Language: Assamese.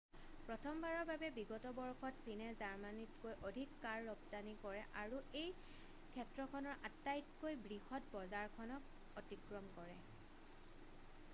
প্ৰথমবাৰৰ বাবে বিগত বৰ্ষত চীনে জাৰ্মানীতকৈ অধিক কাৰ ৰপ্তানি কৰে আৰু এই ক্ষেত্ৰখনৰ আটাইতকৈ বৃহৎ বজাৰখনক অতিক্ৰম কৰে